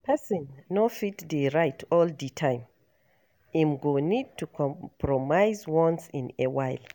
Person no fit dey right all di time, im go need to compromise once in a while